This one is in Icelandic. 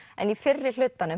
en í